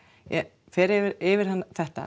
ég fer yfir yfir þetta